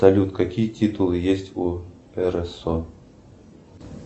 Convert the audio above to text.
салют какие титулы есть у рсо